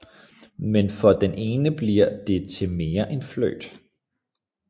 Men for den ene bliver det til mere end flirt